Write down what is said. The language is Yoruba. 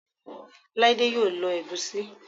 Laide yoo lo Egusi